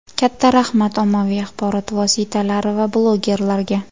Katta rahmat, ommaviy axborot vositalari va blogerlarga.